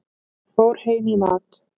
Fór heim í mat.